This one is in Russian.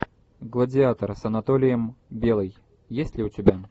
гладиатор с анатолием белый есть ли у тебя